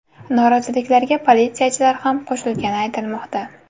Noroziliklarga politsiyachilar ham qo‘shilgani aytilmoqda.